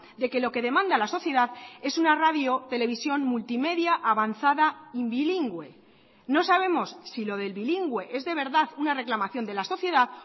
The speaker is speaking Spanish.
de que lo que demanda la sociedad es una radio televisión multimedia avanzada y bilingüe no sabemos si lo del bilingüe es de verdad una reclamación de la sociedad